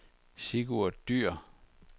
Sigurd Dyhr